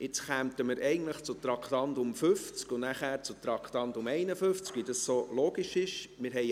Jetzt kämen wir eigentlich zu Traktandum 50 und dann zu Traktandum 51, so wie es logisch ist.